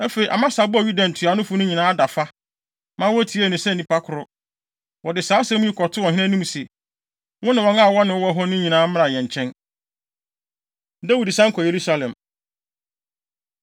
Afei, Amasa bɔɔ Yuda ntuanofo no nyinaa adafa, ma wotiee no sɛ nnipa koro. Wɔde saa asɛm yi kɔtoo ɔhene anim se, “Wo ne wɔn a wɔne wo wɔ hɔ no nyinaa mmra yɛn nkyɛn.” Dawid San Kɔ Yerusalem